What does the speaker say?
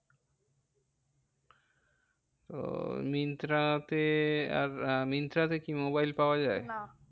ওহ মিন্ত্রাতে আর মিন্ত্রাতে কি মোবাইল পাওয়া যায়? না